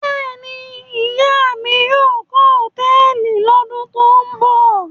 Bẹ́ẹ̀ ni, ìyá mi yóò kọ́ hòtẹ́ẹ́lì lọ́dún tó ń bọ̀.